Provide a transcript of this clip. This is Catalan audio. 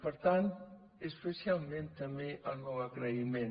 per tant especialment també el meu agraïment